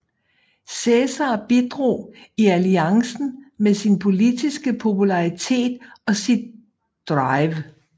Cæsar bidrog i alliancen med sin politiske popularitet og sit drive